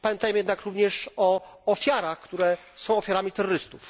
Pamiętajmy jednak również o ofiarach, które są ofiarami terrorystów.